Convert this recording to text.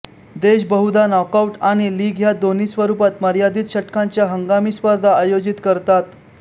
देश बहुधा नॉकआऊट आणि लीग ह्या दोन्ही स्वरूपात मर्यादित षटकांच्या हंगामी स्पर्धा आयोजित करतात